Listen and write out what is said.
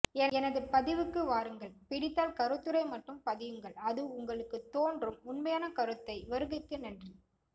எனது பதிவுக்கு வாருங்கள் பிடித்தால் கருத்துரை மட்டும் பதியுங்கள் அதுவும் உங்களுக்கு தோன்றும் உண்மையான கருத்தை வருகைக்கு நன்றி